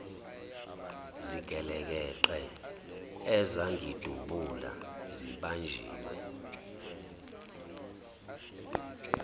zigelekeqe ezangidubula sibanjiwe